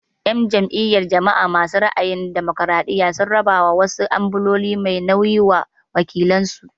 En jam'iyyar jama'a masu ra'ayin damokiraɗiya sun raba wasu ambulo mai nauyi wa wakilan su.